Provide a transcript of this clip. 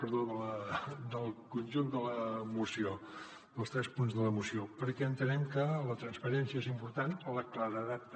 perdó del con·junt de la moció dels tres punts de la moció perquè entenem que la transparència és important la claredat també